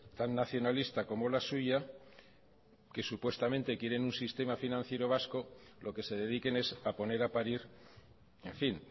tan nacionalista como la suya que supuestamente quieren un sistema financiero vasco lo que se dediquen es a poner a parir en fin